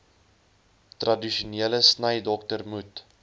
tradisionele snydokter moet